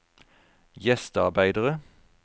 gjestearbeidere